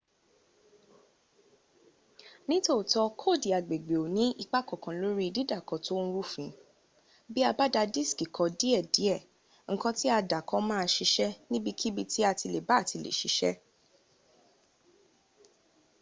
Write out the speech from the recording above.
ni tooto koodi agbègbè o ni ipa kankan lori didaako to n rufin bi a ba da diski ko die die nkan ti a dako ma a sise nibikibi ti atileba ti le sise